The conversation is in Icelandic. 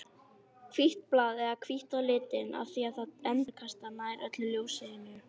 Hvítt blað er hvítt á litinn af því að það endurkastar nær öllu ljósinu.